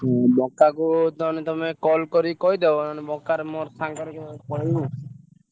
ହଁ ବଙ୍କାକୁ ତମେ call କରି କହିଦବ ବଙ୍କା ର ମୋର ସାଙ୍ଗର ପଳେଇବୁ।